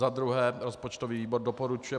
Za druhé rozpočtový výbor doporučuje